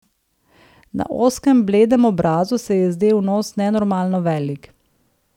Na ozkem, bledem obrazu se je zdel nos nenormalno velik.